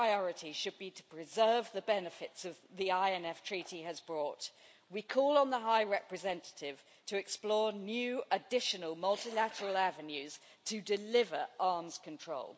our priority should be to preserve the benefits the INF Treaty has brought, we call on the High Representative to explore new, additional multilateral avenues to deliver arms control.